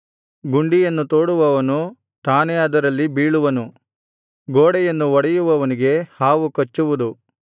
ಗುಂಡಿಯನ್ನು ತೋಡುವವನು ತಾನೇ ಅದರಲ್ಲಿ ಬೀಳುವನು ಗೋಡೆಯನ್ನು ಒಡೆಯುವವನಿಗೆ ಹಾವು ಕಚ್ಚುವುದು